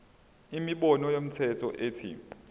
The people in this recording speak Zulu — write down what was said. inombolo yomthelo ethi